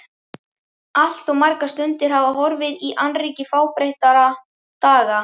Allt of margar stundir hafa horfið í annríki fábreyttra daga.